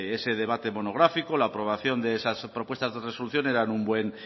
pues ese debate monográfico la aprobación de esas propuestas de resolución eran un buen